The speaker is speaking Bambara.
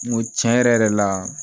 N go cɛn yɛrɛ yɛrɛ la